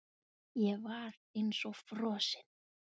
Hann var eins og frosinn.